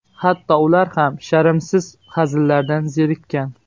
Hatto ular ham sharmsiz hazillardan zerikkan”.